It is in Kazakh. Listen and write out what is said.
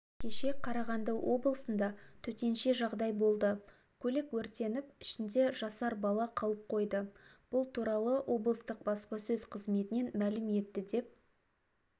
кеше қарағанды облысында төтенше жағдай болды көлік өртеніп ішінде жасар бала қалып қойды бұл туралы облыстық баспасөз қызметінен мәлім етті деп